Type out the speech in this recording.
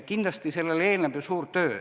Kindlasti sellele eelneb suur töö.